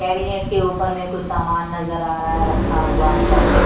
Cabinet के ऊपर में कुछ सामान नजर आ रहा है रखा हुआ अंदर में।